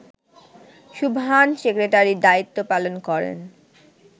সুবহান সেক্রেটারির দায়িত্ব পালন করেন